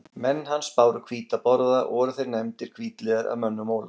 Menn hans báru hvíta borða og voru þeir nefndir hvítliðar af mönnum Ólafs.